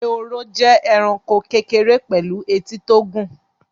Ehoro jẹ́ ẹranko kékeré pẹ̀lú etí tó gùn